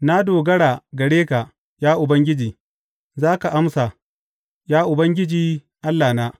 Na dogara gare ka, ya Ubangiji; za ka amsa, ya Ubangiji Allahna.